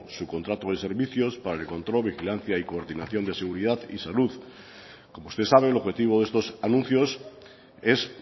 su contrato de servicios para el control vigilancia y coordinación de seguridad y salud como usted sabe el objetivo de estos anuncios es